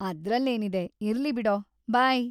ಅದ್ರಲ್ಲೇನಿದೆ, ಇರ್ಲಿ ಬಿಡೋ. ಬೈ!